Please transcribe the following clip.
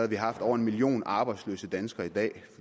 vi haft over en million arbejdsløse danskere i dag